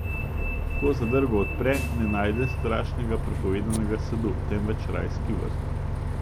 Ko zadrgo odpre, ne najde strašnega prepovedanega sadu, temveč rajski vrt!